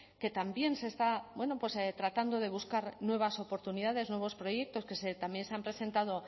que también se está tratando de buscar nuevas oportunidades nuevos proyectos que también se han presentado